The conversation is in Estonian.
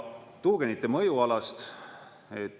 Tuugenite mõjualast.